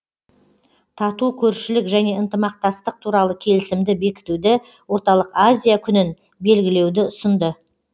тату көршілік және ынтымақтастық туралы келісімді бекітуді орталық азия күнін белгілеуді ұсынды